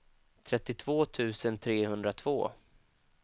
trettiotvå tusen trehundratvå